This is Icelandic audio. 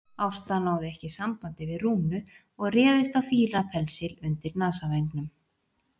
Ásta náði ekki sambandi við Rúnu og réðist á fílapensil undir nasavængnum.